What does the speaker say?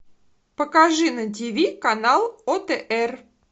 покажи на ти ви канал отр